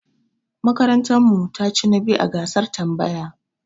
Makarantar mu ta chi na biyu a gasar tambaya.